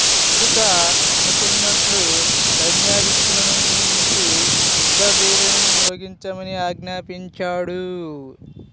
ముందుగా అనుకున్నట్లు సైన్యాధ్యక్షులను నియమించి యుద్ధ భేరీలను మ్రోగించమని ఆజ్ఞాపించాడు